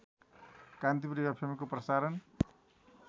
कान्तिपुर एफएमको प्रसारण